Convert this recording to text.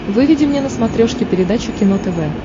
выведи мне на смотрешке передачу кино тв